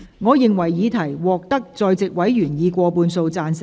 我認為議題獲得在席委員以過半數贊成。